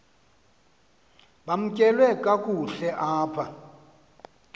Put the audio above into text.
bamkelwe kakuhte apha